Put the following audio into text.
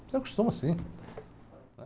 Você acostuma sim.